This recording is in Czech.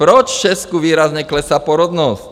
Proč Česku výrazně klesá porodnost?